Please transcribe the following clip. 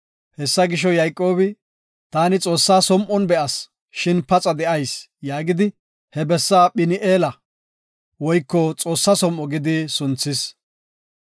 Hessa gisho, Yayqoobi, “Taani Xoossa som7on be7as shin paxa de7ayis” yaagidi, he bessa Phin7eela (Xoossa som7o) gidi sunthis.